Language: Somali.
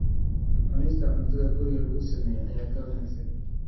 Cunista cuntada guriga lagu sameeyo ayaa ka wanaagsan.